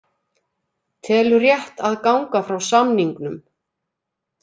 Telur rétt að ganga frá samningnum